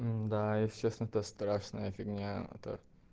да если честно то страшная фигня это